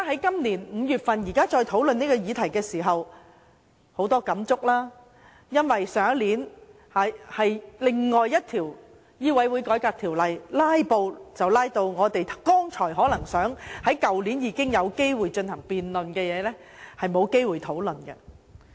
現在再討論這個議題，感觸良多，因為去年審議《2016年醫生註冊條例草案》時出現"拉布"，令去年有機會進行辯論的議題，變成沒有機會討論。